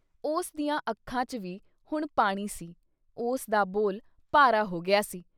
ਉਸ ਦੀਆਂ ਅੱਖਾਂ ਚ ਵੀ ਹੁਣ ਪਾਣੀ ਸੀ- ਉਸ ਦਾ ਬੋਲ ਭਾਰਾ ਹੋ ਗਿਆ ਸੀ।